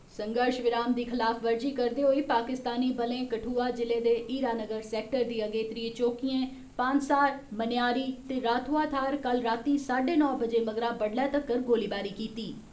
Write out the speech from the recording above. संघर्श विराम दी खलाफवर्जी करदे होई पाकिस्तानी बलें कठुआ जि'ले दे हीरानगर सैक्टर दी अगेत्री चौकिएं पानसार, मनेयारी ते राथुआ थाह्र कल रातीं साड्डे नौ बजे मगरा बड्डलै तगर गोलीबारी कीती।